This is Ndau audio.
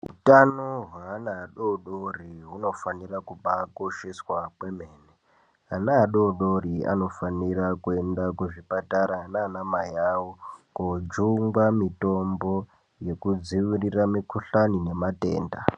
Hutano hwaana adodori hunofanira kubaakosheswa kwemene. Ana adodori anofanira kuenda kuzvipatara nanamai vavo kojungwa mitombo yekudzivirira mikhuhlane nematenda.